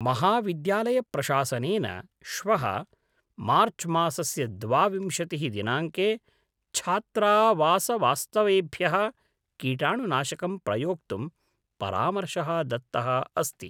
महाविद्यालयप्रशासनेन श्वः मार्च्मासस्य द्वाविंशतिः दिनाङ्के छात्रावासवास्तवेभ्यः कीटाणुनाशकं प्रयोक्तुं परामर्शः दत्तः अस्ति।